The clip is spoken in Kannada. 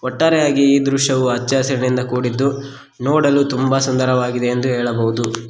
ಒಟ್ಟಾರೆಯಾಗಿ ಈ ದೃಶ್ಯವು ಹಚ್ಚ ಹಸಿರಿನಿಂದ ಕೂಡಿದ್ದು ನೋಡಲು ತುಂಬಾ ಸುಂದರವಾಗಿದೆ ಎಂದು ಹೇಳಬಹುದು.